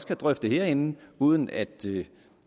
kan drøfte det herinde uden at